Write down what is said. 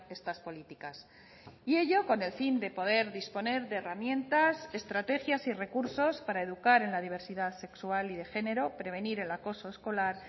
estas políticas y ello con el fin de poder disponer de herramientas estrategias y recursos para educar en la diversidad sexual y de género prevenir el acoso escolar